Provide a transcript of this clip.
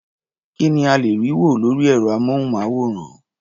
Kí ni a lè rí wò lórí ẹ̀rọ-amóhùnmáwòrán?